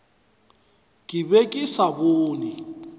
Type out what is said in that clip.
ke be ke sa bone